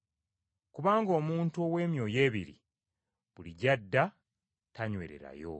Kubanga omuntu ow’emyoyo ebiri, buli gy’adda tanywererayo.